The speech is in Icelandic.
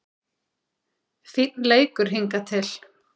Fínn leikur hingað til